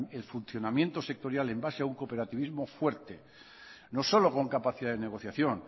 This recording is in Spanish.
el funcionamiento sectorial en base a un cooperativismo fuerte no solo con capacidad de negociación